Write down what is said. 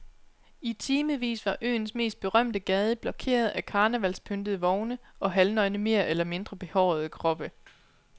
I timevis var øens mest berømte gade blokeret af karnevalspyntede vogne og halvnøgne mere eller mindre behårede kroppe.